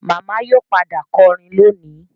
Màmá yóò padà kọrin lónìí